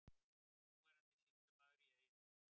Núverandi sýslumaður í Eyjafirði.